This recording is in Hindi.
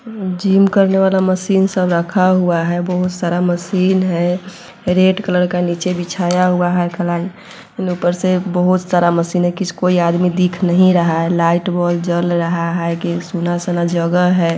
जिम करने वाला मशीन सब रखा हुआ है बहुत सारा मशीन हैं रेड कलर का नीचे बिछाया हुआ है कलाई उपर से बहुत सारा मशीन है किसको कोई आदमी दिख नहीं रहा है लाइट बोल जल रहा है सुना-सुना जगह है।